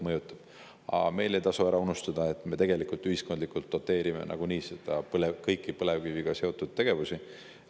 Mõjutavad, aga meil ei tasu ära unustada, et me ühiskonnana nagunii doteerime kõiki põlevkiviga seotud tegevusi.